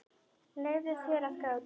Leyfðu þér að gráta.